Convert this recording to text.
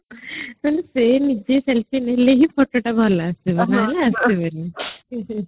ସେ ନିଜେ selfie ନେଲେ ହଁି ଫଟୋଟା ଭଲ ଆସିବ